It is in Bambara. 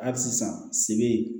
Hali sisan sebe